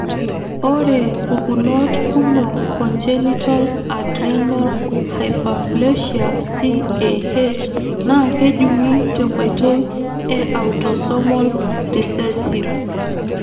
Ore pukunot kumok congenital adrenal hyperplasia (CAH) na kejungi tenkoitoi e autosomal recessive.